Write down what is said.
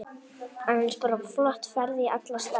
Annars bara flott ferð í alla staði.